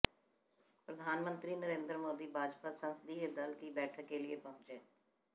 प्रधानमंत्री नरेंद्र मोदी भाजपा संसदीय दल की बैठक के लिए पहुंचे